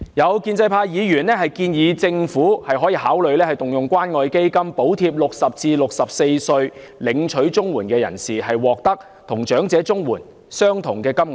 有建制派議員建議政府考慮動用關愛基金補貼60至64歲的領取綜援人士，令他們獲得與長者綜援相同的金額。